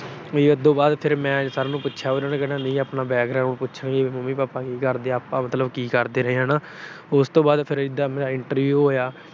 ਫਿਰ ਉਦੋੋਂ ਬਾਅਦ ਜਦੋਂ ਮੈਂ sir ਨੂੰ ਪੁੱਛਿਆ, ਕਹਿੰਦੇ ਨਹੀਂ ਆਪਣਾ background ਪੁੱਛਣਗੇ, ਮੰਮੀ-ਪਾਪਾ ਕੀ ਕਰਦੇ ਆ। ਆਪਾ ਮਤਲਬ ਕੀ ਕਰਦੇ ਰਹੇ ਹਨਾ। ਉਸ ਤੋਂ ਬਾਅਦ ਇਦਾਂ ਮਤਲਬ ਮੇਰਾ interview ਹੋਇਆ।